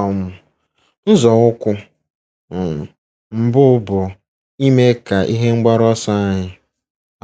um Nzọụkwụ um mbụ bụ ime ka ihe mgbaru ọsọ anyị